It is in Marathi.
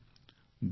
धन्यवाद